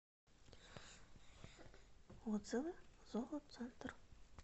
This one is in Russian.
отзывы зоо центр